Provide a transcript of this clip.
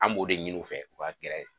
An b'o de ɲinin u fɛ, u ka gɛrɛ .